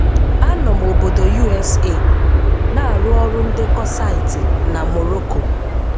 A nọ m obodo USA, na-arụ ọrụ ndekọ saịtị na Morocco.